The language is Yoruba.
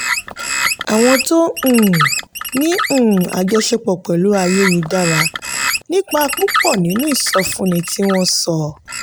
àwọn tó um ní um àjọṣepọ̀ pẹ̀lú ayélujára nípìn púpọ̀ nínú ìsọfúnni tí wọ́n sọ.